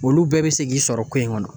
Olu bɛɛ bɛ se k'i sɔrɔ ko in kɔnɔ